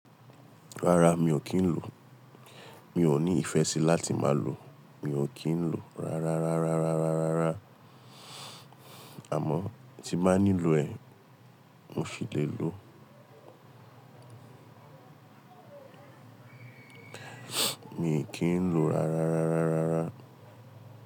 Rárá mi ò kí ń lò ó, mi ò ní ìfẹ́ sí láti máa lò ó, mi ò kí ń lò ó rárá, rárá, rárá, rárá, àmọ́ tí máa nílò ẹ, mo ṣi lè lò ó. Mi ò kí ń lò rárá, rárá, rárá.